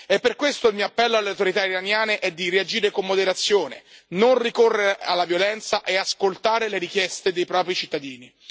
E per questo il mio appello alle autorità iraniane è di reagire con moderazione, non ricorrere alla violenza e ascoltare le richieste dei propri cittadini.